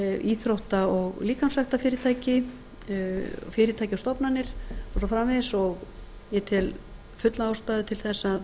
íþrótta og líkamsræktarfyrirtæki fyrirtæki og stofnanir og svo framvegis og ég tel fulla ástæðu til þess